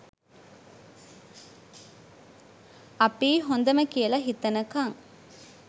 අපියි හොඳම කියල හිතනකං